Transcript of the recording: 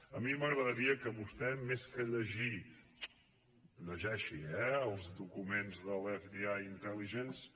a mi m’agradaria que vostè més que llegir llegeixi eh els documents de l’fdi intelligence